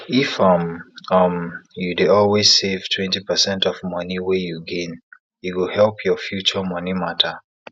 if um um you dey always save twenty percent of money wey you gain e go help your future money matter